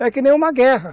É que nem uma guerra.